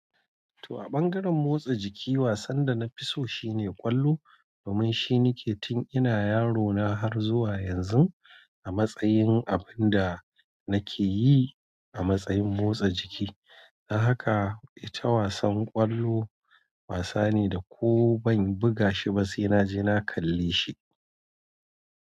To a ɓangaren motsa jiki, wasan da na fi so shine ƙwallo, domin shine nake tun ina yaro na har zuwa yanzu a matsayin abin da nake yi a matsayin motsa jiki. Don haka ita wasan ƙwallo wasa ne da ko ban buga shi ba sai naje na kalle shi.